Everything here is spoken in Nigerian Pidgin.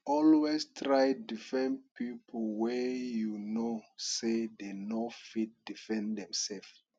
always try defend pipo wey you know say dem no fit defend dimselves